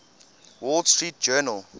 wall street journal